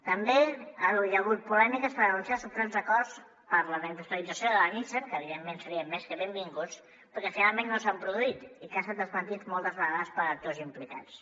també hi ha hagut polèmica per anunciar suposats acords per a la reindustrialització de la nissan que evidentment serien més que benvinguts però perquè finalment no s’han produït i que ha estat desmentit moltes vegades per actors implicats